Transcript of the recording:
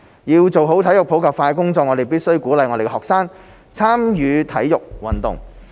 要做好體育普及化的工作，我們必須鼓勵我們的學生參與體育運動。